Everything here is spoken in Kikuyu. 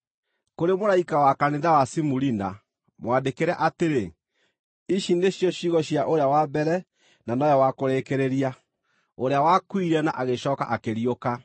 “Kũrĩ mũraika wa kanitha wa Simurina, mwandĩkĩre atĩrĩ: Ici nĩcio ciugo cia ũrĩa wa Mbere na nowe wa Kũrĩkĩrĩria, ũrĩa wakuire na agĩcooka akĩriũka.